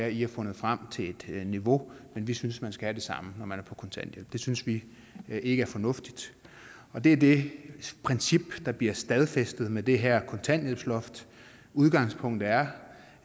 i har fundet frem til et niveau men vi synes man skal have det samme når man er på kontanthjælp det synes vi ikke er fornuftigt og det er det princip der bliver stadfæstet med det her kontanthjælpsloft udgangspunktet er